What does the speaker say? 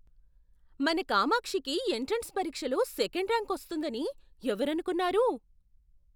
మన కామాక్షికి ఎంట్రన్స్ పరీక్షలో సెకండ్ ర్యాంక్ వస్తుందని ఎవరనుకున్నారు?